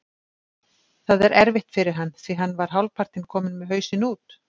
Það er erfitt fyrir hann því hann var hálfpartinn kominn með hausinn út.